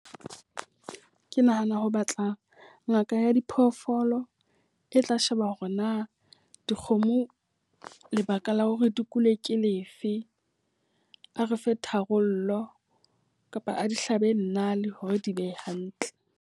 Ke nahana ho batla ngaka ya diphoofolo e tla sheba hore na dikgomo lebaka la hore di kule ke lefe. A re fe tharollo kapa a di hlabe nale hore di be hantle.